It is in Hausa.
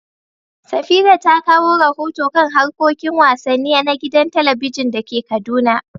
Safira ta kawo rahoto kan harkokin wasanni na gidan talabijin da ke Kaduna.